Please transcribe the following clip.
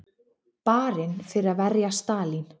Barinn fyrir að verja Stalín